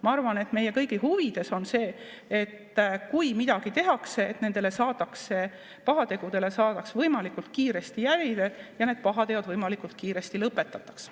Ma arvan, et meie kõigi huvides on see, et kui midagi tehakse, siis saadaks nendele pahategudele võimalikult kiiresti jälile ja need pahateod võimalikult kiiresti lõpetataks.